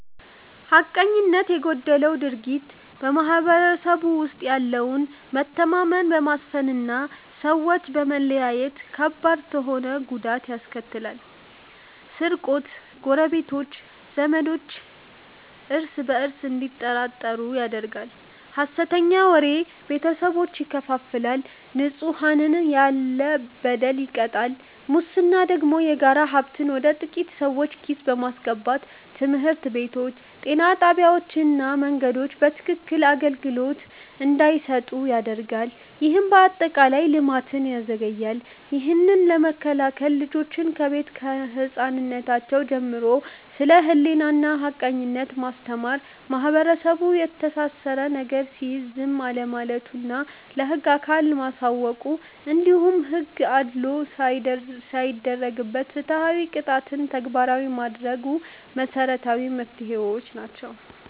ሐቀኝነት የጎደለው ድርጊት በማህበረሰቡ ውስጥ ያለውን መተማመን በማፍረስና ሰዎችን በመለያየት ከባድ ተሆነ ጉዳት ያስከትላል፤ ስርቆት ጎረቤቶች፣ ዘማዳሞች እርስ በእርስ እንዲጠራጠሩ ያደርጋል፣ ሐሰተኛ ወሬ ቤተሰቦችን ይከፋፍላል፣ ንጹሐንንም ያለ በደል ይቀጣል። ሙስና ደግሞ የጋራ ሀብትን ወደ ጥቂት ሰዎች ኪስ በማስገባት ትምህርት ቤቶች፣ ጤና ጣቢያዎችና መንገዶች በትክክክን አገልግሎት እንዳይሰጡ ያደርጋል፤ ይህም አጠቃላይ ልማትን ያዘገያል። ይህንን ለመከላከል ልጆችን ከቤት ከህፃንነራቸው ጀምሮ ስለ ሕሊናና ሐቀኝነት ማስተማር፣ ማህበረሰቡ የተሳሳተ ነገር ሲያይ ዝም አለማለቱና ለህግ አካል ማሳወቁ፣ እንዲሁም ሕግ አድልዎ ሳይደረግበት ፍትሃዊ ቅጣትን ተግባራዊ ማድረጉ መሰረታዊ መፍትሄዎች ናቸው።